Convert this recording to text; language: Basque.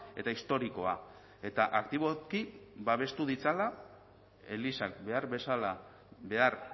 eta historikoa eta aktiboki babestu ditzala elizak behar bezala behar